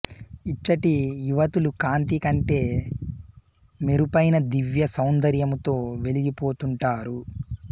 ఇచ్చటి యువతులు కాంతి కంటే మెరుపైన దివ్య సౌందర్యముతో వెలిగిపోతుంటారు